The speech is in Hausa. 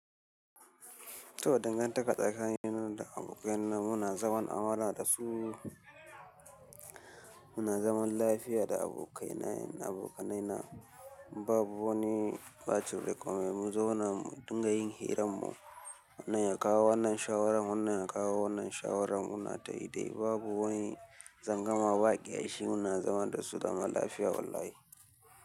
To dangantaka tsakanina da abokaina muna zaman amana da su. Muna zaman lafiya da abokaina, abokanaina babu wani ɓacin rai komai, mu zauna mu dinga yin hirar mu. Wannan ya kawo wannan shawarar, wannan ya kawo wannan shawarar, muna ta yi dai babu wani tsangwama ba ƙyashi, muna zama da su zaman lafiya wallahi.